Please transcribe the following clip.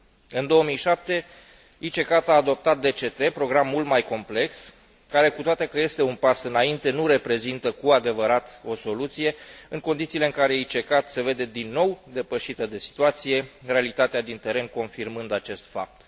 În 2007, ICCAT a adoptat DCT, program mult mai complex care, cu toate că este un pas înainte, nu reprezintă cu adevărat o soluție, în condițiile în care ICCAT se vede din nou depășită de situație, realitatea din teren confirmând acest fapt.